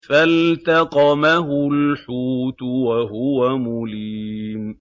فَالْتَقَمَهُ الْحُوتُ وَهُوَ مُلِيمٌ